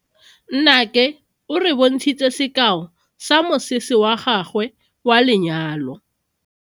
Nnake o re bontshitse sekao sa mosese wa gagwe wa lenyalo.